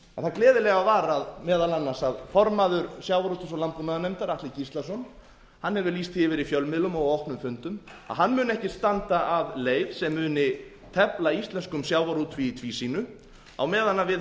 það gleðilega var meðal annars að formaður sjávarútvegs og landbúnaðarnefndar atli gíslason hefur lýst því yfir í fjölmiðlum og á opnum fundum að hann muni ekki standa að leið sem muni tefla íslenskum sjávarútvegi í tvísýnu á meðan við